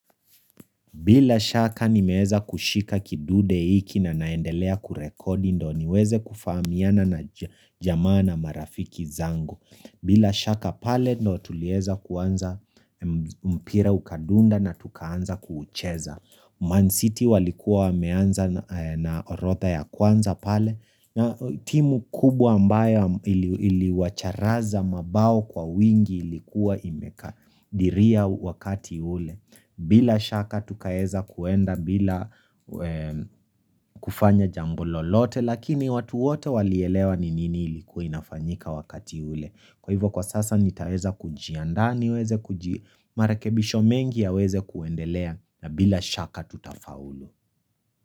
Bila shaka ni meweza kushika kidude hiki na naendelea kurekodi ndo niweze kufaamiana na jamaa na marafiki zangu. Bila shaka pale ndo tulieza kuanza mpira ukadunda na tukaanza kuucheza. Mansiti walikuwa wameanza na orotha ya kwanza pale na timu kubwa mbaya ili wacharaza mabao kwa wingi ilikuwa imeka diria wakati ule. Bila shaka tukaeza kuenda bila kufanya jambololote lakini watu wote walielewa ninini ilikuinafanyika wakati ule. Kwa hivyo kwa sasa nitaweza kujiandani, niweze kuji, marakebisho mengi ya weze kuendelea na bila shaka tutafaulu.